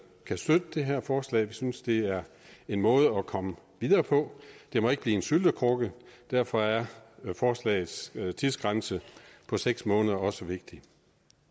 kan støtte det her forslag vi synes det er en måde at komme videre på det må ikke blive en syltekrukke og derfor er forslagets tidsgrænse på seks måneder også vigtig